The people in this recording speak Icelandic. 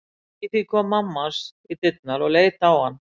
Í því kom mamma hans í dyrnar og leit á hann.